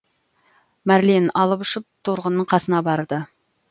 мәрлен алып ұшып торғынның қасына барды